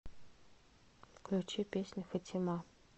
включи песню фатима